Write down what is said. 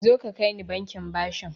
Zoka kaini bankin bashi